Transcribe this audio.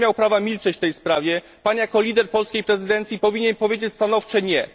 Pan nie miał prawa milczeć w tej sprawie, Pan jako lider polskiej prezydencji powinien powiedzieć stanowcze nie.